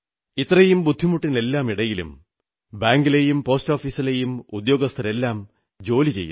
ഇത്രയും ബുദ്ധിമുട്ടിനെല്ലാമിടയിലും ബാങ്കിലെയും പോസ്റ്റാഫീസിലെയും ഉദ്യോഗസ്ഥരെല്ലാം ജോലി ചെയ്യുന്നു